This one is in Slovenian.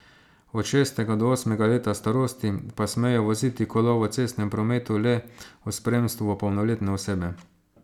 Od šestega do osmega leta starosti pa smejo voziti kolo v cestnem prometu le v spremstvu polnoletne osebe.